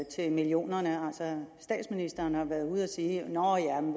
til millionerne altså statsministeren har været ude at sige nå